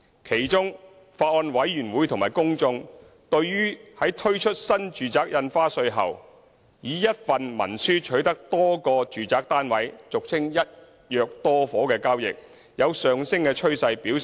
其中，法案委員會和公眾強烈關注到，在推出新住宅印花稅後，以一份文書取得多個住宅單位的交易有上升趨勢。